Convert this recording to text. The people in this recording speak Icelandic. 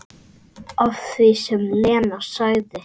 Að því sem Lena sagði.